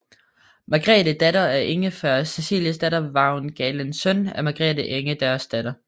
Margrethe datter af Ingfred Ceciliesdatter Vagn Galen søn af Margrethe Ingerdsdatter